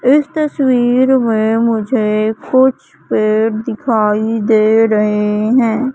इस तस्वीर में मुझे कुछ पेड़ दिखाई दे रहे हैं।